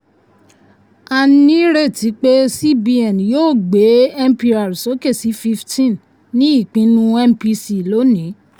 a ní ìrètí pé cbn yóò gbé mpr sókè sí fifteen ní ipinnu mpc lónìí.